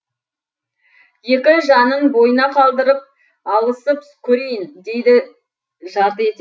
екі жанын бойына қалдырып алысып көрейін дейді жарты